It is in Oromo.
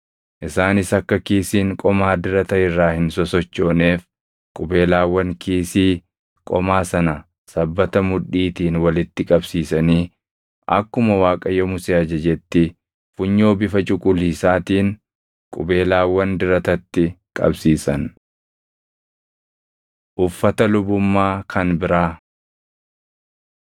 Isaanis akka kiisiin qomaa dirata irraa hin sosochooneef qubeelaawwan kiisii qomaa sana sabbata mudhiitiin walitti qabsiisanii akkuma Waaqayyo Musee ajajetti funyoo bifa cuquliisaatiin qubeelaawwan diratatti qabsiisan. Uffata Lubummaa Kan Biraa 39:22‑31 kwf – Bau 28:31‑43